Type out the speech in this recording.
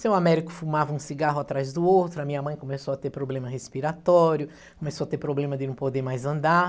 Seu Américo fumava um cigarro atrás do outro, a minha mãe começou a ter problema respiratório, começou a ter problema de não poder mais andar.